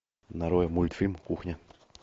нарой мультфильм кухня